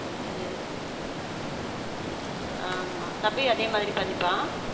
yes ஆமா தம்பியும் அதே மாதிரி பண்ணிப்பா.